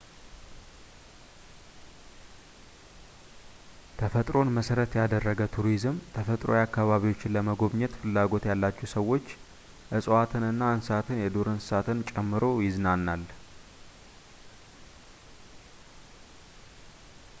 ተፈጥሮን መሠረት ያደረገ ቱሪዝም ተፈጥሮአዊ አካባቢዎችን ለመጎብኘት ፍላጎት ያላቸውን ሰዎች እፅዋትንና እንስሳትን የዱር እንስሳትን ጨምሮ ይዝናናል